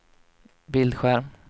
bildskärm